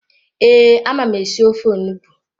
Ee, ama m esi ofe onugbu